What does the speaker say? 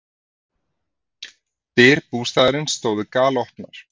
Dyr bústaðarins stóðu galopnar.